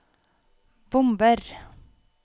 bomber